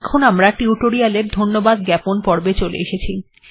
এখন আমরা টিউটোরিয়াল্ এর ধন্যবাদ জ্ঞাপন পর্বে চলে এসেছি